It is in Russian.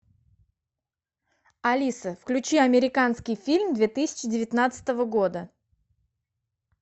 алиса включи американский фильм две тысячи девятнадцатого года